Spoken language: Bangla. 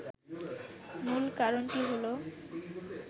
মূল কারণটি হল